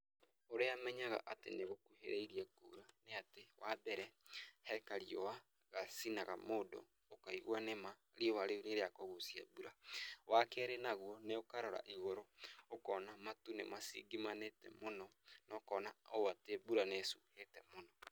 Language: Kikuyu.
ũrĩa menyaga atĩ nĩgũkuhĩrĩirie kuura, nĩ atĩ wa mbere he kariũa gacinaga mũndũ ũkaigua nĩma riũa rĩu nĩrĩa kũguucia mbura. Wa keerĩ naguo nĩ ũkarora igũrũ, ũkona atĩ matu nĩ macinjimanire mũno na ũkona atĩ matu nĩ macuuhĩte mũno.